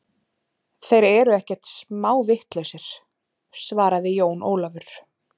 Þeir eru ekkert smá vitlausir, svaraði Jón Ólafur.